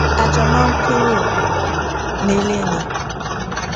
a jọ máa ń kúrò nílé ni